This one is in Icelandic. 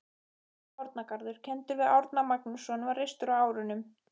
Árnagarður, kenndur við Árna Magnússon, var reistur á árunum